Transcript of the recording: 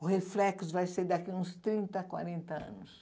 O reflexo vai ser daqui a uns trinta, quarenta anos.